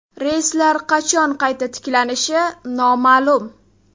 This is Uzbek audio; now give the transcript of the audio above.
Reyslar qachon qayta tiklanishi noma’lum.